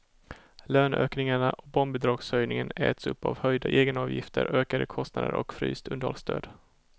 Löneökningarna och barnbidragshöjningen äts upp av höjda egenavgifter, ökade kostnader och fryst underhållsstöd.